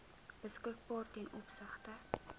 beskikbaar ten opsigte